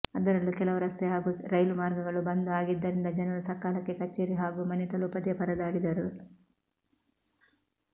ಅದರಲ್ಲೂ ಕೆಲವು ರಸ್ತೆ ಹಾಗೂ ರೈಲು ಮಾರ್ಗಗಳು ಬಂದ್ ಆಗಿದ್ದರಿಂದ ಜನರು ಸಕಾಲಕ್ಕೆ ಕಚೇರಿ ಹಾಗೂ ಮನೆ ತಲುಪದೇ ಪರದಾಡಿದರು